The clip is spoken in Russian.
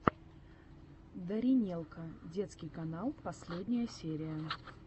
даринелка детский канал последняя серия